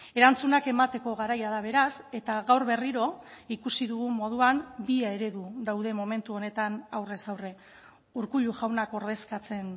erantzunak emateko garaia da beraz eta gaur berriro ikusi dugun moduan bi eredu daude momentu honetan aurrez aurre urkullu jaunak ordezkatzen